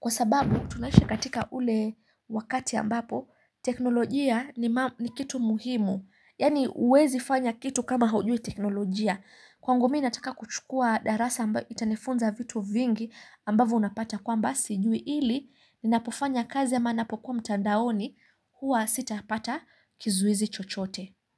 Kwa sababu tunaishi katika ule wakati ambapo teknolojia ni kitu muhimu. Yaani huwezi fanya kitu kama haujui teknolojia. Kwangu mimi nataka kuchukua darasa ambayo itanifunza vitu vingi ambavo unapata kwamba sijui ili ni napofanya kazi ama ninapokuwa mtandaoni huwa sitapata kizuizi chochote.